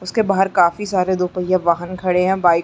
उसके बाहर काफी सारे दो पहिया वाहन खड़े हे बाइक --